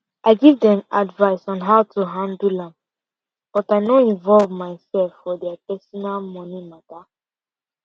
i give dem advice on how to handle am but i no involve myself for dia personal money matter